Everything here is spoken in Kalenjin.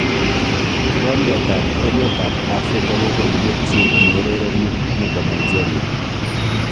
Kikombet ab emet ab Afrika kokoibut chi neurereni nebo Nigeria.